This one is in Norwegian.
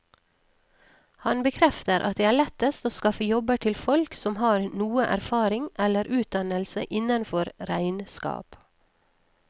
Han bekrefter at det er lettest å skaffe jobber til folk som har noe erfaring eller utdannelse innenfor regnskap.